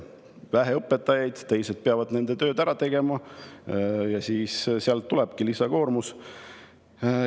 Kui on vähe õpetajaid, siis teised peavad nende töö ära tegema ja sealt tulebki lisakoormus.